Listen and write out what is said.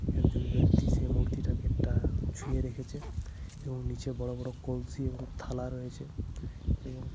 একজন ব্যক্তি সেই মূর্তিটাকে টা ছুঁয়ে রেখেছে। এবং নিচে বড় বড় কলসি এবং থালা রয়েছে। এবং --